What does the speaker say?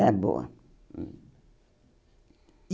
Era boa hum. E